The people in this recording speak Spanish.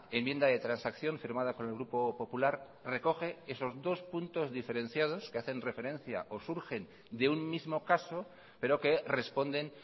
enmienda de transacción firmada con el grupo popular recoge esos dos puntos diferenciados que hacen referencia o surgen de un mismo caso pero que responden